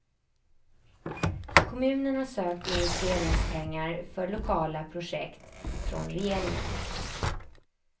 Kommunen har sökt investeringspengar för lokala projekt från regeringen.